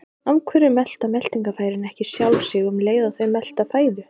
af hverju melta meltingarfærin ekki sjálf sig um leið og þau melta fæðu